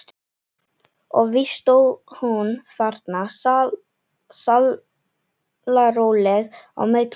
Og víst stóð hún þarna sallaróleg á milli okkar.